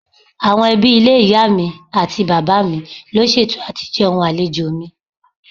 Àwọn ẹbí ilé ìyá àti bàbá mi ló ṣètò àti jẹun àlejò mi.